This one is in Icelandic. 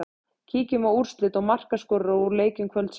Kíkjum á úrslit og markaskorara úr leikjum kvöldsins.